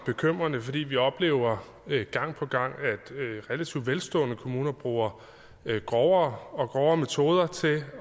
bekymrende fordi vi oplever at relativt velstående kommuner bruger grovere og grovere metoder til